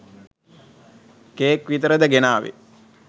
Cake විතරද ගෙනාවේ?